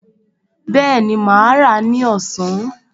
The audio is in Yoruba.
Bẹ́ẹ̀ni, mà á rà á ní ọ̀sán